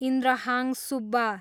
Indrahang Subba